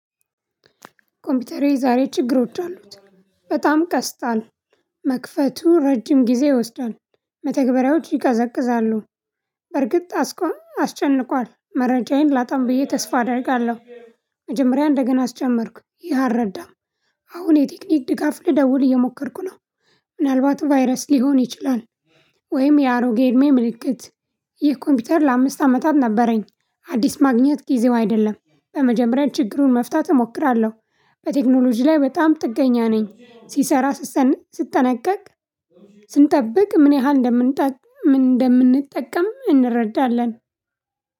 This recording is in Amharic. ኮምፒውተሬ ዛሬ ችግሮች አሉት በጣም ቀስታል መክፈቱ ረጅም ጊዜ ይወስዳል። መተግበሪያዎች ይቀዘቅዛሉ። በርግጥ አስቆም አስጨንቋል መረጃዬን አላጣም ብዬ ተስፋ አደርጋለሁ። መጀመሪያ እንደገና አስጀመርኩ ይህ አልረዳም። አሁን የቴክኒክ ድጋፍ ልደውል እየሞከርኩ ነው። ምናልባት ቫይረስ ሊሆን ይችላል። ወይም የአሮጌ እድሜ ምልክት። ይህ ኮምፒውተር ለአምስት አመታት ነበረኝ። አዲስ ማግኘት ጊዜው አይደለም በመጀመሪያ ችግሩን መፍታት እሞክራለሁ። በቴክኖሎጂ ላይ በጣም ጥገኛ ነኝ። ሲሰራ ስትጠነቀቅ። ስንጠብቅ ምን ያህል እንደምንጠቅ ምን እንደምንጠቀም እንረዳለን።